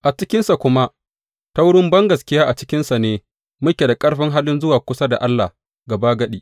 A cikinsa, kuma ta wurin bangaskiya a cikinsa ne muke da ƙarfin halin zuwa kusa da Allah gabagadi.